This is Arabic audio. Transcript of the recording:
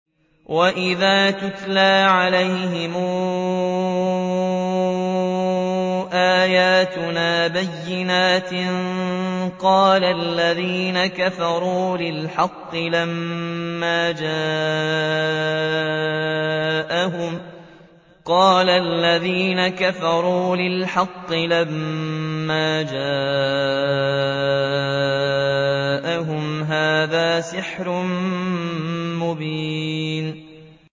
وَإِذَا تُتْلَىٰ عَلَيْهِمْ آيَاتُنَا بَيِّنَاتٍ قَالَ الَّذِينَ كَفَرُوا لِلْحَقِّ لَمَّا جَاءَهُمْ هَٰذَا سِحْرٌ مُّبِينٌ